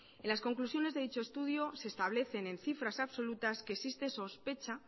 en las conclusiones de dicho estudio se establecen en cifras absolutas que existe sospecha